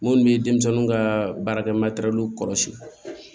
Minnu bɛ denmisɛnninw ka baarakɛ kɔlɔsi